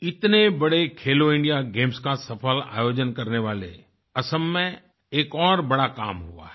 इतने बड़े खेलोइंडिया गेम्स का सफल आयोजन करने वाले असम में एक और बड़ा काम हुआ है